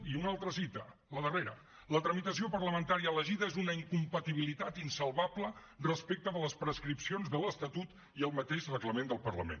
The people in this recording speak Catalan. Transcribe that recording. i una altra cita la darrera la tramitació parlamentària elegida és una incompatibilitat insalvable respecte de les prescripcions de l’estatut i el mateix reglament del parlament